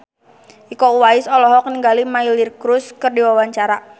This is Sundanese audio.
Iko Uwais olohok ningali Miley Cyrus keur diwawancara